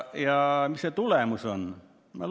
Ja mis see tulemus on?